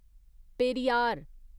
Periyar